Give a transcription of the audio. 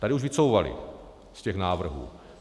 Tady už vycouvali z těch návrhů.